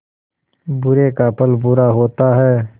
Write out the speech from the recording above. बुरे का फल बुरा होता है